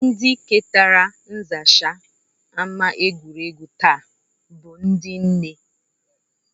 Ndị ketara nzacha ama egwuregwu taa bụ ndị nne